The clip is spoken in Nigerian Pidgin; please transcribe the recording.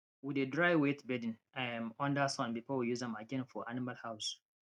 we dey dry wet bedding um under sun before we use am again for animal house